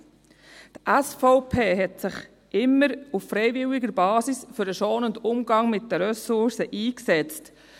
Die SVP setzte sich immer auf freiwilliger Basis für den schonenden Umgang mit den Ressourcen ein.